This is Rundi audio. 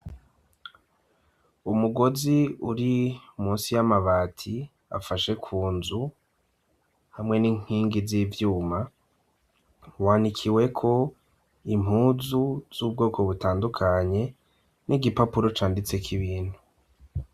Umugozi uri munsi y'amabati afashe ku nzu hamwe n'inkingi z'ivyuma, wanikiweko impuzu z'ubwoko butandukanye n'igipapuro canditse k'ibintu .